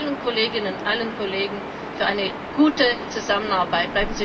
Ich danke allen Kolleginnen und Kollegen für eine gute Zusammenarbeit.